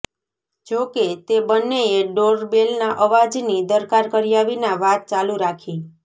જો કે તે બંનેએ ડોરબેલના અવાજની દરકાર કર્યા વિના વાત ચાલુ રાખી